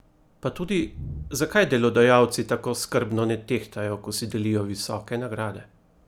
Pa tudi, zakaj delodajalci tako skrbno ne tehtajo, ko si delijo visoke nagrade?